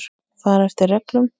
Fara eftir reglum.